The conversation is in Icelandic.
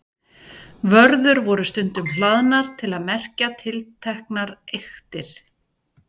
Vörður voru stundum hlaðnar til að merkja tilteknar eyktir.